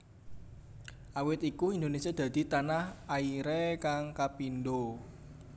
Awit iku Indonesia dadi tanah airé kang kapindo